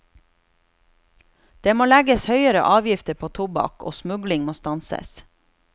Det må legges høyere avgifter på tobakk og smugling må stanses.